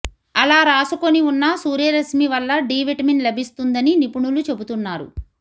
అలా రాసుకుని ఉన్నా సూర్యరశ్మి వల్ల డి విటమిన్ లభిస్తుందని నిపుణులు చెబుతున్నారు